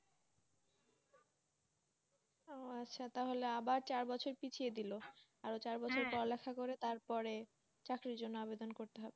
ও আচ্ছা তাহলে আবার চার বছর পিছিয়ে দিল আরো পড়ালেখা করে তারপরে চাকরির জন্য আবেদন করতে হবে